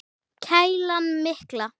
Kælan mikla.